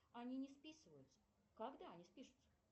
они не списываются когда они спишутся